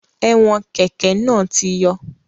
Ẹ̀wọn kẹ́kẹ̀ náà ti yọ